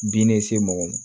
Bin ne se mɔgɔ ma